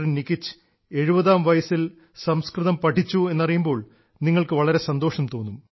നികിച് 70ാം വയസ്സിൽ സംസ്കൃതം പഠിച്ചു എന്നറിയുമ്പോൾ നിങ്ങൾക്കു വളരെ സന്തോഷം തോന്നും